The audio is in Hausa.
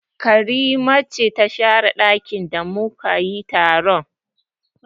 Karima ce ta share ɗakin da mu ka yi taron